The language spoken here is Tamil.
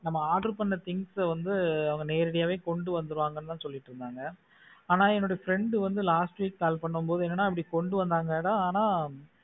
நம்ம order பண்ண things வந்து அவங்க நேரடியா கொண்டு வந்துருவாங்க அப்படின்னு சொல்லிட்டு இருந்தாங்க ஆனா என்னோட friend வந்து last week call பண்ணும் போது என்னன்னாஅப்படி கொண்டு வந்தாங்க ஆனா